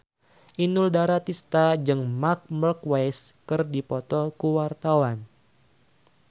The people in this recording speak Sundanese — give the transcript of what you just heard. Inul Daratista jeung Marc Marquez keur dipoto ku wartawan